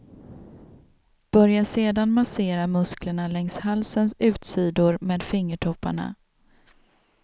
Börja sedan massera musklerna längs halsens utsidor med fingertopparna.